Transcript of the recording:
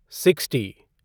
sixty